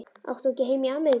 Átt þú ekki heima í Ameríku?